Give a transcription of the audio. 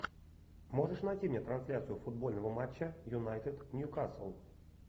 можешь найти мне трансляцию футбольного матча юнайтед ньюкасл